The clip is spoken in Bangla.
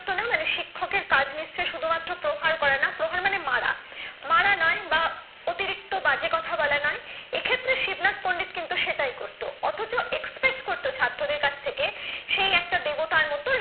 না মানে শিক্ষকের কাজ নিশ্চয়ই শুধুমাত্র প্রহার করা না। প্রহার মানে মারা। মারা না বা অতিরিক্ত বাজে কথা বলা না। এক্ষেত্রে শিবনাথ পন্ডিত কিন্তু সেটাই করত অথচ expect করত ছাত্রদের কাছে সেই একটা দেবতার মত